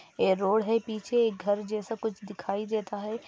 ये रोड है पीछे घर जैसा कुछ दिखाई देता है।